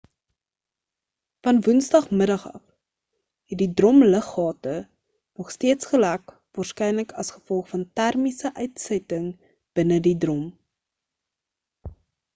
van woensdag middag af het die drom luggate nog steeds gelek waarskynlik as gevolg van termiese uitsetting binne die drom